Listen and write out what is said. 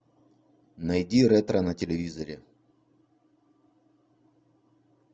найди ретро на телевизоре